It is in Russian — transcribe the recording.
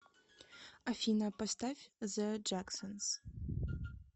афина поставь зе джексонс